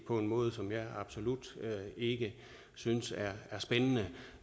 på en måde som jeg absolut ikke synes er spændende